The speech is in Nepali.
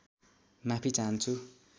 माफि चाहन्छु